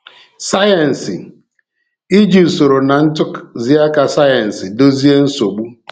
Sayensị—iji usoro na ntụziaka sayensị dozie nsogbu.